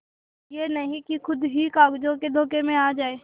यह नहीं कि खुद ही कागजों के धोखे में आ जाए